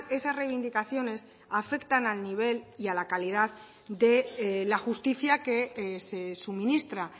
esas reivindicaciones afectan al nivel y a la calidad de la justicia que se suministra